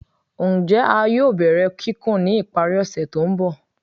Njẹ a yoo bẹrẹ kikun ni ipari ose to nbọ?